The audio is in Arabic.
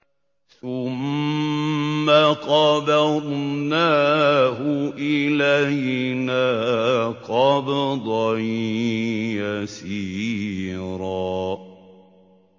ثُمَّ قَبَضْنَاهُ إِلَيْنَا قَبْضًا يَسِيرًا